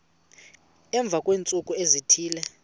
emva kweentsuku ezithile